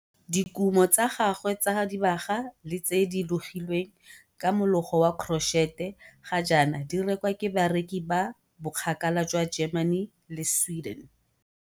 Dikumo tsa gagwe tsa dibaga le tse di logilweng ka mologo wa korotšhete ga jaana di rekwa ke bareki ba bokgakala jwa Germany le Sweden.